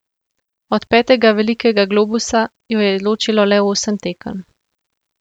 Od petega velikega globusa jo je ločilo le osem tekem.